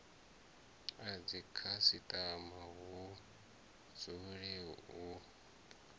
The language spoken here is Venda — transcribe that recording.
a dzikhasitama hu dzule hu